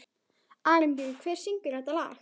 Arinbjörn, hver syngur þetta lag?